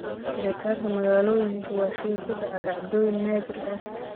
Xiritaanka magaalooyinku waa shay ku dhaca dhacdooyin naadir ah.